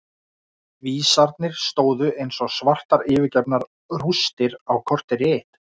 Vísarnir stóðu eins og svartar yfirgefnar rústir á kortér í eitt.